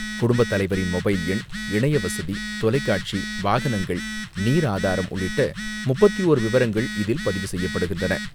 குடும்ப தலைவரின் மொபைல் எண், இணையவசதி, தொலைக்காட்சி, வாகனங்கள், நீர் ஆதாரம், உள்ளிட்ட முப்பத்து ஓரு விவரங்கள் இதில் பதிவு செய்யப்படுகின்றன.